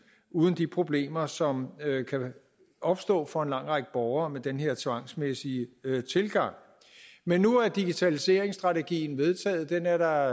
uden de problemer som kan opstå for en lang række borgere med den her tvangsmæssige tilgang men nu er digitaliseringsstrategien vedtaget den er der